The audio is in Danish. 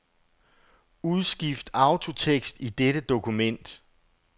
Udskift autotekst i dette dokument.